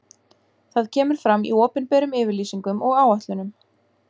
Það kemur fram í opinberum yfirlýsingum og áætlunum.